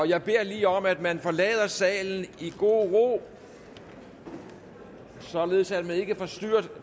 jeg beder lige om at man forlader salen i god ro således at man ikke forstyrrer